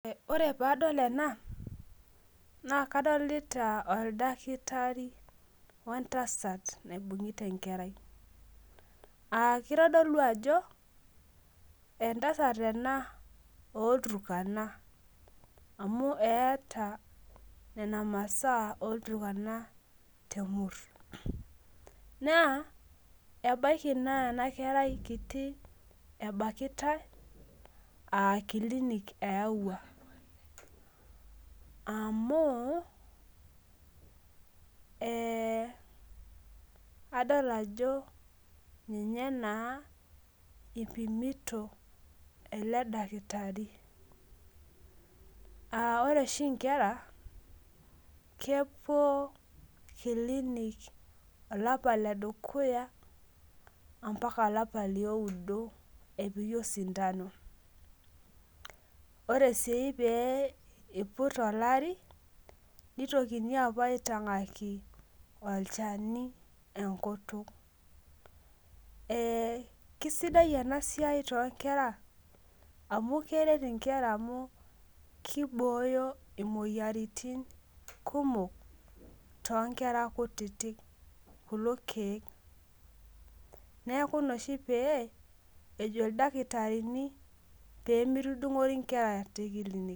Ore padol ena, na kadolita oldakitari wentasat naibung'ita enkerai. Ah kitodolu ajo, entasat ena olturkana. Amu eeta nena masaa olturkana temur. Naa, ebaiki naa enakerai kiti ebakitai, akilinik eewua. Amu, adol ajo ninye naa ipimito ele dakitari. Ah ore oshi nkera, kepuo kilinik olapa ledukuya, ampaka olapa lioudo epiki osindano. Ore si pe iput olari, nitokini apuo aitong'aki olchani enkutuk. Kisidai enasiai tonkera amu keret inkera amu kibooyo imoyiaritin kumok tonkera kutitik kulo keek. Neeku ina oshi pee, ejo ildakitarini pemitudung'ori nkera tekilinik.